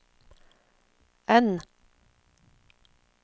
N